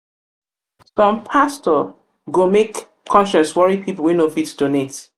um som pastor um go make go make conscience wori pipol wey no fit donate